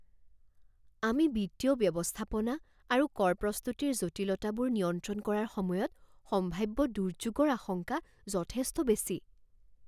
আমি বিত্তীয় ব্যৱস্থাপনা আৰু কৰ প্ৰস্তুতিৰ জটিলতাবোৰ নিয়ন্ত্ৰণ কৰাৰ সময়ত সম্ভাব্য দুৰ্যোগৰ আশংকা যথেষ্ট বেছি।